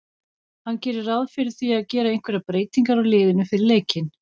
Hann gerir ráð fyrir því að gera einhverjar breytingar á liðinu fyrir leikinn.